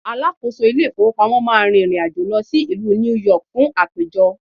alákóso ilé ifowópamọ́ ma rìrìn àjò lọ sí ìlú New York fun àpéjọ